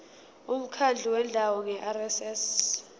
umkhandlu wendawo ngerss